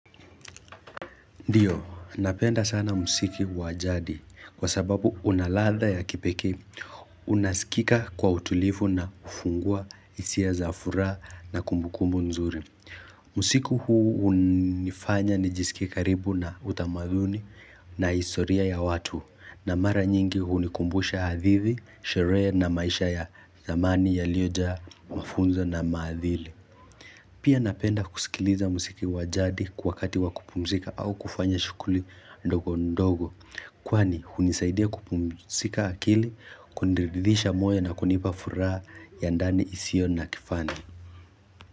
Ndiyo, napenda sana muziki wa jadi, kwa sababu una ladha ya kipekee, unasikika kwa utulivu na hufungua, hisia za furaha na kumbukumbu nzuri. Usiku huu hunifanya nijisikie karibu na utamaduni na historia ya watu na mara nyingi hunikumbusha hadithi, sherehe na maisha ya zamani yaliyojaa mafunzo na maadili. Pia napenda kusikiliza muziki wa jadi wakati wa kupumzika au kufanya shughuli ndogondogo Kwani hunisaidia kupumzika akili, kuridhisha moyo na kunipa furaha ya ndani isiyo na kifani.